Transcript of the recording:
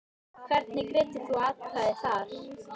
Hvernig greiddir þú atkvæði þar?